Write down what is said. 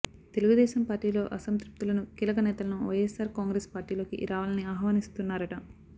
తెలుగుదేశం పార్టీలో అసంతృప్తులను కీలక నేతలను వైఎస్ఆర్ కాంగ్రెస్ పార్టీలోకి రావాలని ఆహ్వానిస్తున్నారట